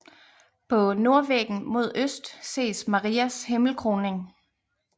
På nordvæggen mod øst ses Marias himmelkroning